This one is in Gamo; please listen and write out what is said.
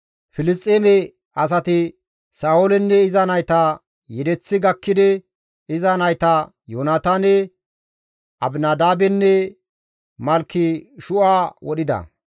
Filisxeeme asati Sa7oolenne iza nayta yedeththi gakkidi iza nayta Yoonataane, Abinadaabenne Malkeshu7a wodhida.